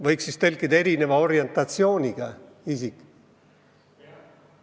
Võiks siis tõlkida "erineva orientatsiooniga" isikud.